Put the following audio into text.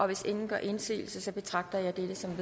hvis ingen gør indsigelse betragter jeg dette som